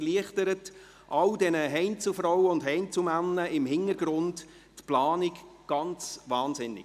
Dies erleichtert all diesen Heinzelfrauen und Heinzelmännern im Hintergrund die Planung enorm.